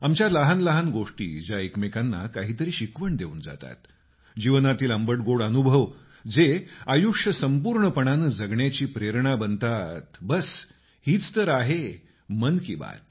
आमच्या लहान लहान गोष्टी ज्या एकमेकांना काही तरी शिकवण देऊन जातात जीवनातील आंबटगोड अनुभव जे आयुष्य संपूर्णपणाने जगण्याची प्रेरणा बनतात बस हीच तर आहे मन की बात